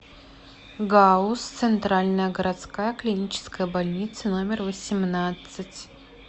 гауз центральная городская клиническая больница номер восемнадцать